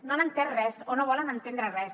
no han entès res o no volen entendre res